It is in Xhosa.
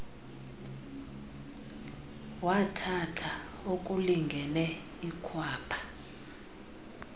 wathatha okulingene ikhwapha